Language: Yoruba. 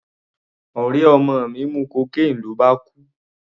Ọ̀rẹ́ ọmọ mi mu cocaine ló bá kú.